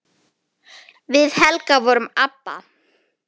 Við Helga vorum ABBA.